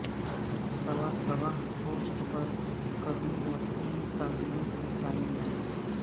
سوا سواہ کوسٹ پر قرون وسطی تاجروں کی ٹائم لائن